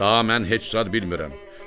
Daha mən heç zad bilmirəm.